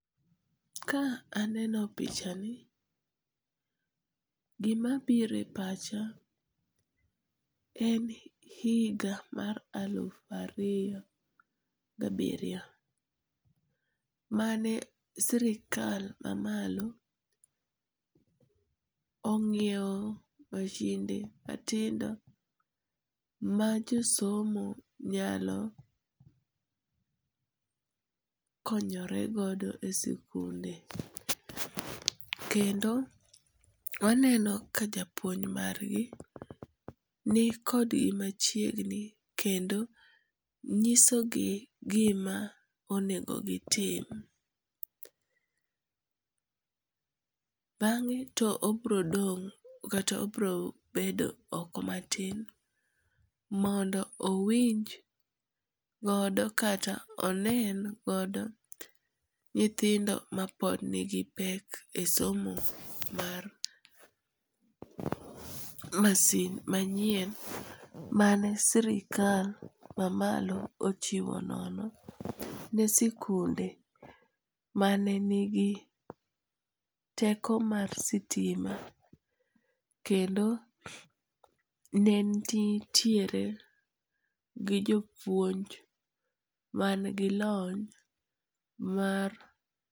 Ka aneno pichani, gimabiro e pacha, en higa mar aluf ariyo gabiriyo, mane sirikal mamalo onyiewo mashinde matindo majosomo nyalo konyoregodo e sikunde, kendo waneno ka japuonj margi, nikodgi machiegni kendo nyisogi gima onego gitim, bang'e to obrodong' kata obrobedo oko matin ,mondo owinj godo kata onen godo nyithindo mapod nigipek e somo mar mashin manyien mane sirikal mamalo ochiwo nono ne sikunde mane nigi teko mar sitima, kendo ne nitiere gi jopuonj mangi lony mar.